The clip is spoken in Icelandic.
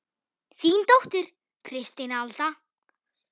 Þín dóttir, Kristín Alda.